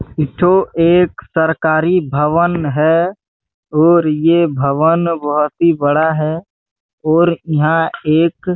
एक ठो एक सरकरी भवन है और ये भवन बहोत ही बड़ा है और इहा एक--